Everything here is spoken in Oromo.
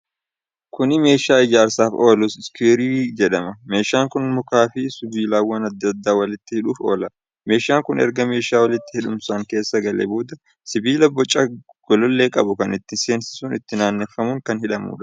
Kuni meeshaa ijaarsaaf oolu iskiriwuu jedhama. meeshaan kun mukaa fi sibiilawwan adda adda walitti hidhuuf oola. Meeshaan kun erga meeshaa walitti hidhamu san keessa galee booda sibiila boca golollee qabu kan itti seensisuun itti naannefamuun kan hidhamuudha.